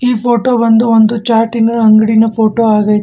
ಈ ಫೋಟೋ ಬಂದು ಒಂದು ಚಾಟಿ ನ ಅಂಗಡಿನ ಫೋಟೋ ಆಗತಿ.